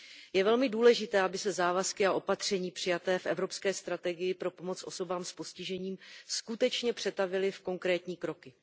Je velmi důležité, aby se závazky a opatření přijaté v Evropské strategii pro pomoc osobám s postižením skutečně přetavily v konkrétní kroky.